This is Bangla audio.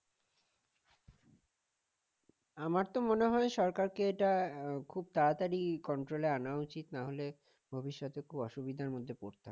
আমার তো মনে হয় সরকারকে আহ এটা খুব তাড়াতাড়ি control এ আনা উচিত না হলে ভবিষ্যতে খুব অসুবিধার মধ্যে পড়তে হবে